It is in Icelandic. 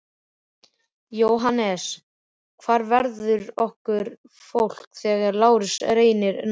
JÓHANNES: Hvar verður okkar fólk þegar Lárus reynir næst?